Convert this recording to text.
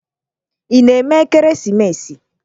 Ị na-eme ekeresimesi?